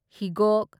ꯍꯤꯒꯣꯛ